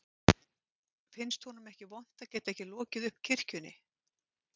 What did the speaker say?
Finnst honum ekki vont að geta ekki lokið upp kirkjunni